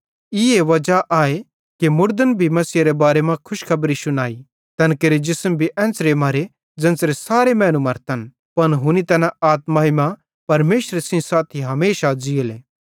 ईए वजा आए कि मुड़दन भी मसीहेरे बारे मां खुशखबरी शुनाई तैन केरे जिसम भी एन्च़रे मरे ज़ेन्च़रे सारे मैनू मरतन पन हुनी तैना आत्माई मां परमेशरेरे सेइं साथी हमेशा ज़ीइले